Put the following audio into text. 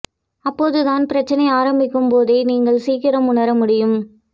அப்போது தான் பிரச்னை ஆரம்பிக்கும் போதே நீங்கள் சீக்கிரம் உணர முடியும்